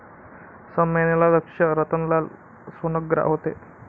संमेलनाध्यक्ष रतनलाल सोनग्रा होते.